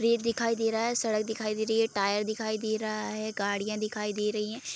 रेत दिखाई दे रहा है सड़क दिखाई दे रही है टायर दिखाई दे रहा है गाड़ियाँ दिखाई दे रही है ।